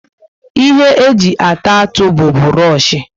Ihe eji ata atụ bu buroshi